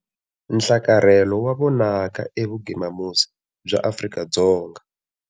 Nhlakarhelo wa vonaka evugimamusi bya Afrika-Dzonga.